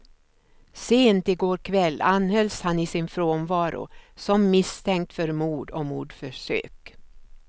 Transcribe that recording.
Sent i går kväll anhölls han i sin frånvaro som misstänkt för mord och mordförsök.